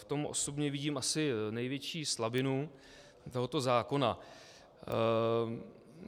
V tom osobně vidím asi největší slabinu tohoto zákona.